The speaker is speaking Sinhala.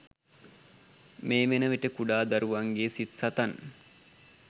මේ වන විට කුඩා දරුවන්ගේ සිත් සතන්